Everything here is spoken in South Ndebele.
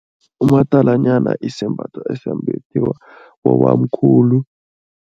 Umadalanyana isembatho esimbathiwa bobamkhulu.